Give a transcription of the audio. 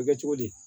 A bɛ kɛ cogo di